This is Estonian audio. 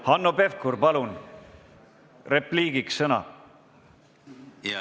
Hanno Pevkur, palun, saate repliigiks sõna!